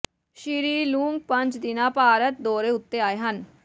ਸ੍ਰੀ Loong ਪੰਜ ਦਿਨਾ ਭਾਰਤ ਦੌਰੇ ਉੱਤੇ ਆਏ ਹਨ